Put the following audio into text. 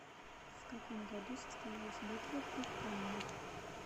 в каком году состоялась битва при каннах